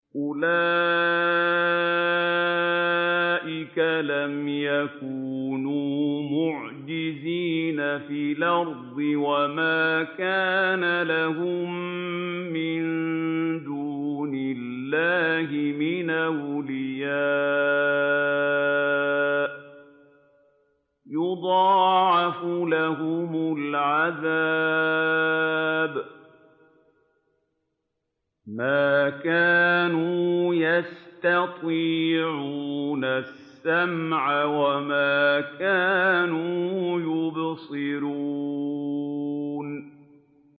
أُولَٰئِكَ لَمْ يَكُونُوا مُعْجِزِينَ فِي الْأَرْضِ وَمَا كَانَ لَهُم مِّن دُونِ اللَّهِ مِنْ أَوْلِيَاءَ ۘ يُضَاعَفُ لَهُمُ الْعَذَابُ ۚ مَا كَانُوا يَسْتَطِيعُونَ السَّمْعَ وَمَا كَانُوا يُبْصِرُونَ